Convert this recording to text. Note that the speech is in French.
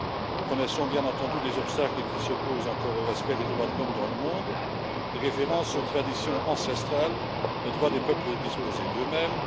Nous connaissons, bien entendu, les obstacles qui s'opposent encore au respect des droits de l'homme dans le monde, les références aux traditions ancestrales, le droit des peuples de disposer d'eux mêmes.